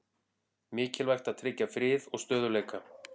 Mikilvægt að tryggja frið og stöðugleika